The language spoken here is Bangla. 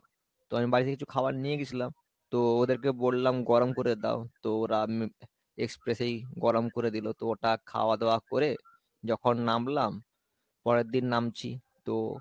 তো আমি বাড়ি থেকে কিছু খাবার নিয়ে গেছিলাম। তো ওদেরকে বললাম গরম করে দাও তো ওরা আমি express এই গরম করে দিল তো ওটা খাওয়া দাওয়া করে যখন নামলাম, পরেরদিন নামছি তো